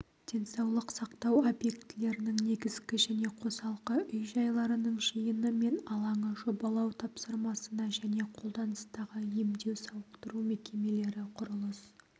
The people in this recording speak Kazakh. денсаулық сақтау объектілерінің негізгі және қосалқы үй-жайларының жиыны мен алаңы жобалау тапсырмасына және қолданыстағы емдеу-сауықтыру мекемелері құрылыс